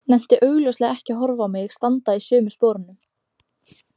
Nennti augljóslega ekki að horfa á mig standa í sömu sporum.